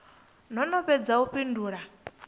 no no fhedza u fhindula